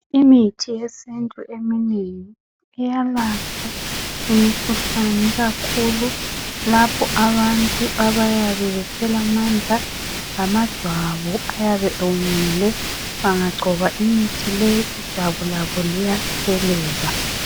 Imithi yesintu eminengi iyalapha imikhuhlane ikakhula lapho abantu abayabe bephela amandla, amajwabu ayabe ewomile bangangcoba imithi le ijwabu labo liyatshelela.